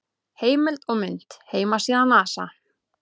Heimild og mynd: Heimasíða NASA.